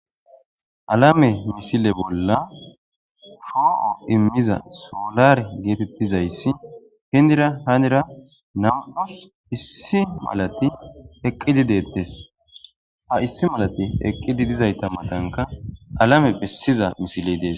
Alame misile bolla po'o immiza solar geetettizayssi hindira hanira namuus issi malati eqqidi deettes ha issi malati eqqidi dizayta matanka alame pessiza misiley dees.